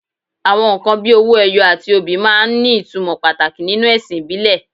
Àwọn nǹkan bíi owó ẹyọ àti obì máa ń ní ìtumọ̀ pàtàkì nínú ẹ̀sìn ìbílẹ̀